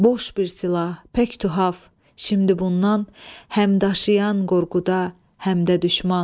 Boş bir silah, pək tühaf, şimdi bundan həm daşıyan qorxuda, həm də düşman.